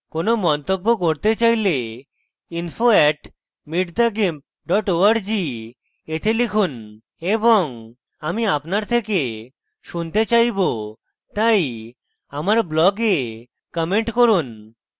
কোনো মন্তব্য করতে চাইলে info @meetthegimp org তে লিখুন এবং আমি আপনার থেকে শুনতে চাইবো তাই আমার blog comment করুন